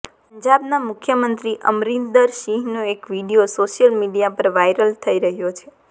પંજાબના મુખ્યમંત્રી અમરિંદર સિંહનો એક વિડીયો સોશિયલ મીડિયા પર વાયરલ થઇ રહ્યો છે